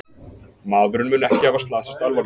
Maðurinn mun ekki hafa slasast alvarlega